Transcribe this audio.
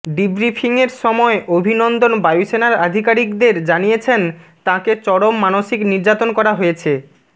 ডিব্রিফিংয়ের সময় অভিনন্দন বায়ুসেনার আধিকারিকদের জানিয়েছেন তাঁকে চরম মানসিক নির্যাতন করা হয়েছে